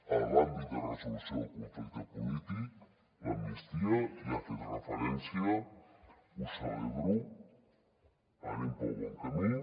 en l’àmbit de resolució del conflicte polític l’amnistia hi ha fet referència ho celebro anem pel bon camí